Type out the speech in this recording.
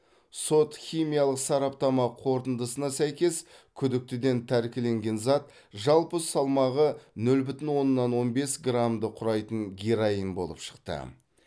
сот химиялық сараптама қорытындысына сәйкес күдіктіден тәркіленген зат жалпы салмағы нөл бүтін оннан он бес граммды құрайтын героин болып шықты